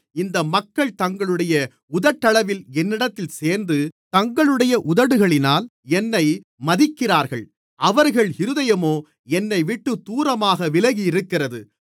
இந்த மக்கள் தங்களுடைய உதட்டளவில் என்னிடத்தில் சேர்ந்து தங்களுடைய உதடுகளினால் என்னை மதிக்கிறார்கள் அவர்கள் இருதயமோ என்னைவிட்டு தூரமாக விலகியிருக்கிறது